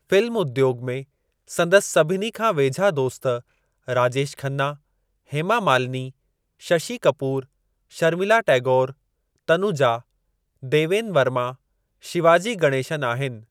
Film उद्योॻ में संदसि सभिनी खां वेझा दोस्त राजेश खन्ना, हेमा मालिनी, शशि कपूर, शर्मिला टैगोरु, तनुजा, देवेन वर्मा, शिवाजी गणेशन आहिनि।